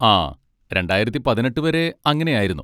ആ രണ്ടായിരത്തി പതിനെട്ട് വരെ അങ്ങനെ ആയിരുന്നു.